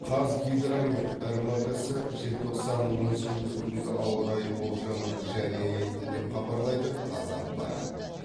қазгидромет рмк сы желтоқсанның он сегізі күнгі ауа райы болжамын жария етті деп хабарлайды қазақпарат